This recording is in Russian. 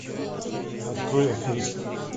открой аферист